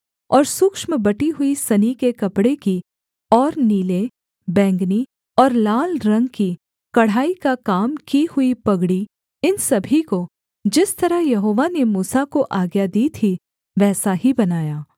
और सूक्ष्म बटी हुई सनी के कपड़े की और नीले बैंगनी और लाल रंग की कढ़ाई का काम की हुई पगड़ी इन सभी को जिस तरह यहोवा ने मूसा को आज्ञा दी थी वैसा ही बनाया